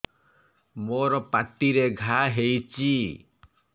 ମୋର ପାଟିରେ ଘା ହେଇଚି